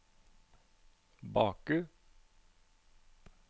Baku